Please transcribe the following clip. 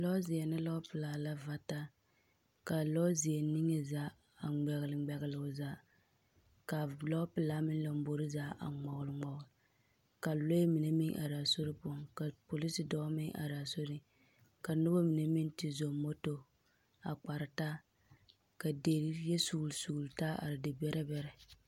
Lͻͻzeԑ ne lͻͻpelaa la va taa ka a lͻͻzeԑ niŋe zaa a ŋmԑgele ŋmԑgele o zaa. Ka a lͻͻpelaa meŋ lambori zaa a ŋmͻgele ŋmͻgele. Ka lͻԑ mine meŋ are a soe poͻ, ka polisi dͻͻ meŋ are a soriŋ. Ka noba mine meŋ te zͻͻ moto a kpare taa, ka deri yԑ sugili sugili taa are debԑrԑ bԑrԑ.